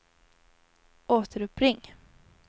återuppring